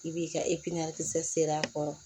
I b'i ka e piɲɛn kisɛ sere a kɔrɔ